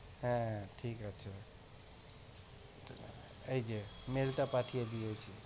হ্যাঁ ঠিক আছে এই যে mail টা পাঠিয়ে দিয়েছি